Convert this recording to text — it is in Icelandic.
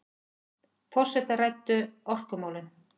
Forsetar ræddu orkumálin